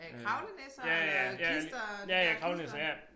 Øh kravlenisser eller klister de der klister